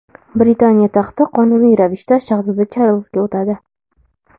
Britaniya taxti qonuniy ravishda shahzoda Charlzga o‘tadi.